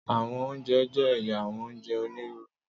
Àwọn ounjẹ jẹ ẹya àwọn ounjẹ oniruuru.